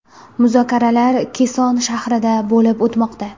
Muzokaralar Keson shahrida bo‘lib o‘tmoqda.